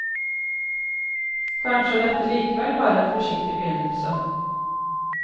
Kanskje er dette likevel bare en forsiktig begynnelse.